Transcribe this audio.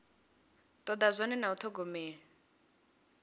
toda zwone na u thogomela